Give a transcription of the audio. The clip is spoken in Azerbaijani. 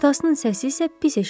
Atasının səsi isə pis eşidilirdi.